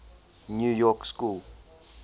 new york school